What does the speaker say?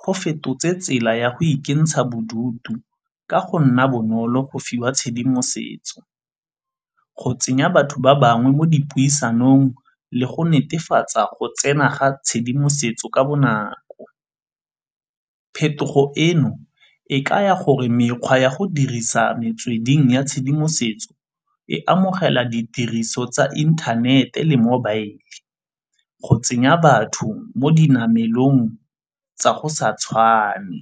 go fetotse tsela ya go ikentsha bodutu ka go nna bonolo go fiwa tshedimosetso, go tsenya batho ba bangwe mo dipuisanong le go netefatsa go tsena ga tshedimosetso ka bonako. Phetogo eno e ka ya gore mekgwa ya go dirisa metsweding ya tshedimosetso e amogela ditiriso tsa inthanete le mobile go tsenya batho mo dinamelong tsa go sa tshwane.